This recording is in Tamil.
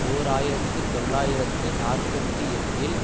ஓர் ஆயிரத்து தொள்ளாயிரத்து நாற்பத்தி எட்டில்